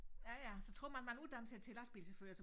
Ja ja så troede man man uddannede sig til lastbilchauffør så